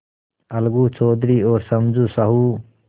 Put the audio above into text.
अलगू चौधरी और समझू साहु